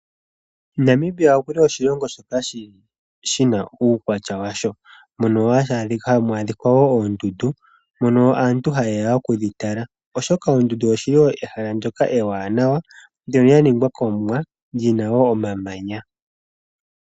Namibia okuli oshilongo shoko shina uukwatya washo. Mono hamu adhikwa woo oondundu mono aantu hayeya okudhitala, oshoka oondundu oshili ehala ndjoka eewaanawa ndjono lyaningwa komuwa lyina woo omamanya.